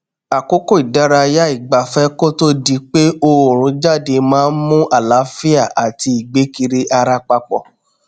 àkókò ìdárayá ìgbafẹ kó tó di pé òòrùn jáde maá n mú àlààfíà àti ìgbé kiri ara papọ